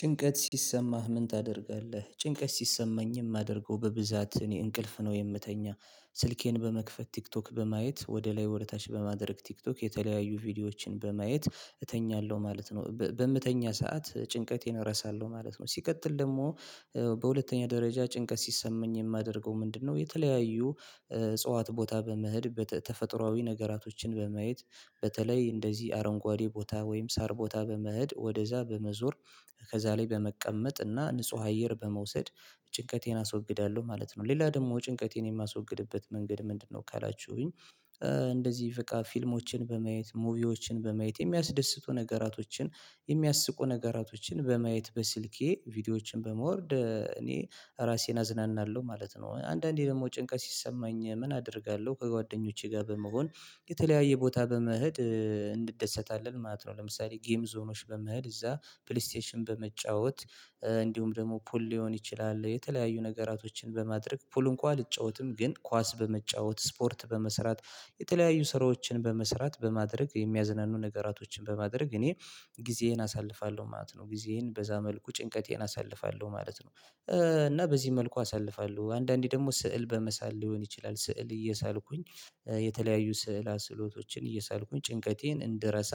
ጭንቀት ሲሰማህ ምን ታደርጋለህ? ጭንቀት ሲሰማኝ የማደርገው በብዛት እኔ እንቅልፍ ነው የምተኛ። ስልኬን በመክፈት ቲክቶክ በማየት ወደ ላይ ወደ ታች በማድረግ ቲክቶክ የተለያዩ ቪዲዮዎችን በማየት እተኛለሁ ማለት ነው። በምተኛ ሰዓት ጭንቀቴን እረሳለሁ ማለት ነው። ሲቀጥል ደግሞ በሁለተኛ ደረጃ ጭንቀት ሲሰመኝ የማደርገው ምንድነው? የተለያዩ እጽዋት ቦታ በመሄድ በተፈጥሮአዊ ነገራቶችን በማየት። በተለይ እንደዚህ አረንጓዴ ቦታ ወይም ሳር ቦታ በመሄድ ወደዚያ በመዞር ከዚያ በመቀመጥ እና ንጹህ አየር በመውሰድ ጭንቀቴን አስወግዳለሁ ማለት ነው። ሌላ ደግሞ ጭንቀቴን የማስወግድበት መንገድ ምንድነው? ካላችሁኝ እንደዚህ በቃ ፊልሞችን በማየት ሙቪዎችን በማየት የሚያስደስቱ ነገራቶችን የሚያስቁ ነገራቶችን በማየት በስልኬ ቪዲዮዎችን በመውርድ እኔ ራሴን አዝናናለሁ ማለት ነው። አንዳንዴ ደግሞ ጭንቀት ሲሰማኝ ምን አደርጋለሁ ከጓደኞቼ ጋር በመሆን የተለያየ ቦታ በመሄድ እንደሰታለን ማለት ነው። ለምሳሌ ጌም ዞኖች በመሄድ እዚያ ፕሌይስቴሽን በመጫወት እንዲሁም ደግሞ ፑል ሊሆን ይችላል የተለያዩ ነገራቶችን በማድረግ ፑል እንኳን አልጫወትም ግን ኳስ በመጫወት ስፖርት በመስራት የተለያዩ ስራዎችን በመስራት በማድረግ የሚያዝናኑ ነገራቶችን በማድረግ እኔ ጊዜዬን አሳልፋለሁ ማለት ነው። ጊዜዬን በዚያ መልኩ ጭንቀቴን አሳልፋለሁ ማለት ነው። እና በዚህ መልኩ አሳልፋለሁ አንዳንዴ ደግሞ ስዕል በመሳል ሊሆን ይችላል ስዕል እየሳልኩኝ የተለያዩ ስዕለ ስዕሎቶችን እየሳልኩኝ ጭንቀቴን እንድረሳ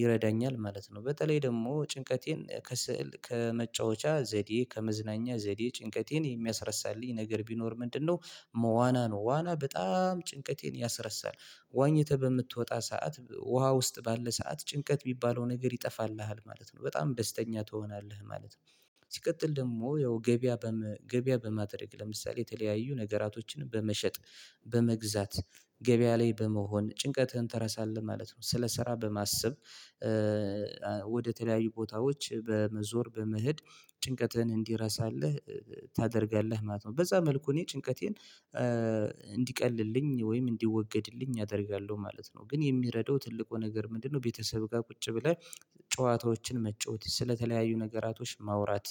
ይረዳኛል ማለት ነው። በተለይ ደግሞ ጭንቀቴን ከስዕል ከመጫወቻ ዘዴ ከመዝናኛ ዘዴ ጭንቀቴን የሚያስረሳልኝ ነገር ቢኖር ምንድነው? መ ዋና ነው ዋና በጣም ጭንቀቴን ያስረሳል። ዋኝተህ በምትወጣ ሰዓት ውሃ ውስጥ ባለ ሰዓት ጭንቀት ሚባለው ነገር ይጠፋልሃል ማለት ነው። በጣም ደስተኛ ትሆናለህ ማለት ነው። ሲቀጥል ደግሞ ያው ገበያ ገበያ በማድረግ ለምሳሌ የተለያዩ ነገራቶችንም በመሸጥ በመግዛት ገበያ ላይ በመሆን ጭንቀትህን ትረሳለህ ማለት ነው። ስለሰራ በማሰብ ወደ ተለያዩ ቦታዎች በመዞር በመሄድ ጭንቀትህን እንዲረሳልህ ታደርጋለህ ማለት ነው። በዚያ መልኩ እኔ ጭንቀቴን እንዲቀልልኝ ወይም እንዲወገድልኝ አደርጋለሁ ማለት ነው። ግን የሚረዳው ትልቁ ነገር ምንድነው? ቤተሰብ ጋር ቁጭ ብለህ ጨዋታዎችን መጫወት ስለተለያዩ ነገራቶች ማውራት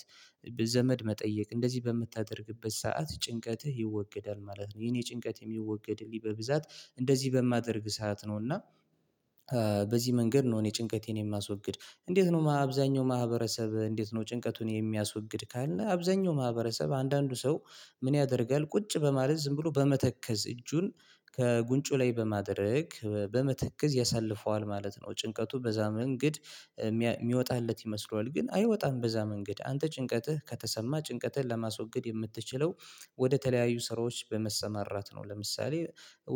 ዘመድ መጠየቅ እንደዚህ በምታደርግበት ሰዓት ጭንቀትህ ይወገዳል ማለት ነው። የኔ ጭንቀት የሚወገድልኝ በብዛት እንደዚህ በማደርግ ሰዓት ነው እና በዚህ መንገድ ነው። እኔ ጭንቀቴን የማስወግድ። እንዴት ነው? አብዛኛው ማህበረሰብ እንዴት ነው? ጭንቀቱን የሚያስወግድ ካለን አብዛኛው ማህበረሰብ አንዳንዱ ሰው ምን ያደርጋል? ቁጭ በማለት ዝም ብሎ በመተከዝ እጁን ከጉንጩ ላይ በማድረግ በመተከዝ ያሳልፈዋል ማለት ነው። ጭንቀቱ በዚያ መንገድ የሚወጣለት ይመስለዋል ግን አይወጣም በዚያ መንገድ አንተ ጭንቀትህ ከተሰማህ ጭንቀትህን ለማስወገድ የምትችለው ወደ ተለያዩ ስራዎች በመሰማራት ነው። ለምሳሌ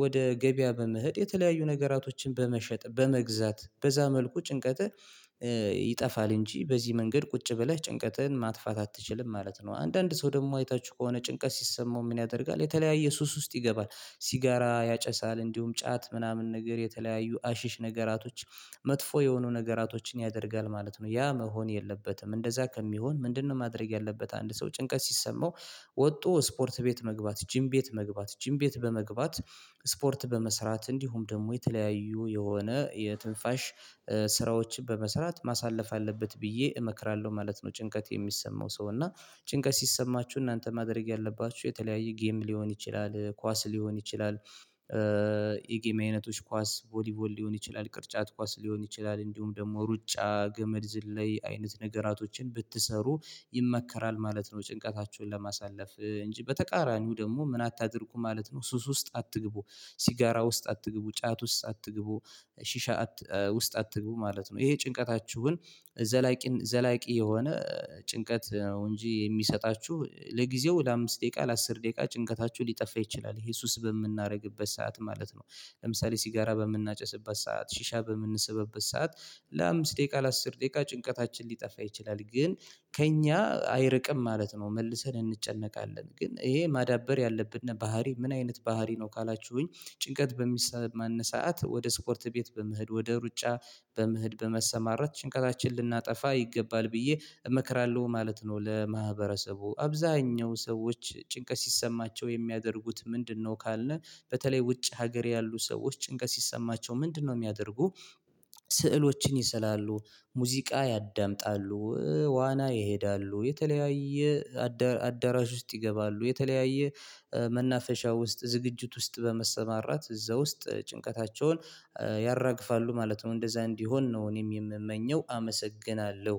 ወደ ገበያ በመሄድ የተለያዩ ነገራቶችን በመሸጥ በመግዛት በዚያ መልኩ ጭንቀትህ ይጠፋል እንጂ በዚህ መንገድ ቁጭ ብለህ ጭንቀትን ማጥፋት አትችልም ማለት ነው። አንዳንድ ሰው ደግሞ አይታችሁ ከሆነ ጭንቀት ሲሰማው ምን ያደርጋል? የተለያየ ሱስ ውስጥ ይገባል ሲጋራ ያጨሳል እንዲሁም ጫት ምናምን ነገር የተለያዩ አሽሽ ነገራቶች መጥፎ የሆኑ ነገራቶችን ያደርጋል ማለት ነው። ያ መሆን የለበትም እንደዚያ ከሚሆን ምንድነው? ማድረግ ያለበት አንድ ሰው ጭንቀት ሲሰማው ወጡ ስፖርት ቤት መግባት ጂም ቤት መግባት ጂም ቤት በመግባት ስፖርት በመስራት እንዲሁም ደግሞ የተለያዩ የሆነ የትንፋሽ ስራዎችን በመስራት ማሳለፍ አለበት ብዬ እመክራለሁ ማለት ነው። ጭንቀት የሚሰማው ሰው እና ጭንቀት ሲሰማችሁ እናንተ ማድረግ ያለባችሁ የተለያየ ጌም ሊሆን ይችላል ኳስ ሊሆን ይችላል የጌም አይነቶች ኳስ ቮሊቮል ሊሆን ይችላል ቅርጫት ኳስ ሊሆን ይችላል እንዲሁም ደግሞ ሩጫ ገመድ ዝም ላይ አይነት ነገራቶችን ብትሰሩ ይመከራል ማለት ነው። ጭንቀታችሁን ለማሳለፍ እንጂ በተቃራኒው ደግሞ ምን አታድርጉ ማለት ነው። ሱስ ውስጥ አትግቡ። ሲጋራ ውስጥ አትግቡ። ጫት ውስጥ አትግቡ። ሺሻ ውስጥ አትግቡ ማለት ነው። ይሄ ጭንቀታችሁን ዘላቂ ዘላቂ የሆነ ጭንቀት ነው እንጂ የሚሰጣችሁ ለጊዜው ለአምስት ደቂቃ ለአስር ደቂቃ ጭንቀታችሁ ሊጠፋ ይችላል ይሄ ሱስ በምናደርግበት ሰዓት ማለት ነው። ለምሳሌ ሲጋራ በምናጨስበት ሰዓት ሺሻ በምንሰብበት ሰዓት ለአምስት ደቂቃ ለአስር ደቂቃ ጭንቀታችን ሊጠፋ ይችላል ግን ከእኛ አይርቅም ማለት ነው። መልሰን እንጨነቃለን ግን ይሄ ማዳበር ያለብን ባህሪ ምን አይነት ባህሪ ነው? ካላችሁኝ ጭንቀት በሚሰማን ሰዓት ወደ ስፖርት ቤት በመሄድ ወደ ሩጫ በመሄድ በመሰማራት ጭንቀታችንን ልናጠፋ ይገባል ብዬ እመክራለሁ ማለት ነው። ለማህበረሰቡ አብዛኛው ሰዎች ጭንቀት ሲሰማቸው የሚያደርጉት ምንድነው? ካልን በተለይ ውጭ ሀገር ያሉ ሰዎች ጭንቀት ሲሰማቸው ምንድነው የሚያደርጉ? ስዕሎችን ይስላሉ ሙዚቃ ያዳምጣሉ ዋና ይሄዳሉ የተለያየ አዳራሽ ውስጥ ይገባሉ የተለያየ መናፈሻ ውስጥ ዝግጅት ውስጥ በመሰማራት እዚያ ውስጥ ጭንቀታቸውን ያራግፋሉ ማለት ነው። እንደዚያ እንዲሆን ነው እኔም የሚመኘው አመሰግናለሁ።